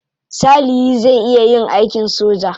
Salihi zai iya yin aikin soja.